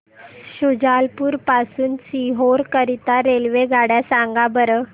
शुजालपुर पासून ते सीहोर करीता रेल्वेगाड्या सांगा बरं